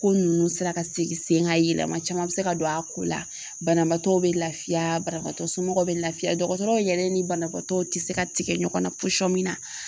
Ko nunnu sera ka segi sen ŋa yɛlɛma caman bɛ se ka don a ko la. Bananbaatɔw bɛ lafiya banabaatɔ somɔgɔw bɛ lafiya dɔgɔtɔrɔw yɛrɛ ni banabaatɔw ti se ka tigɛ ɲɔgɔn na posɔn min na.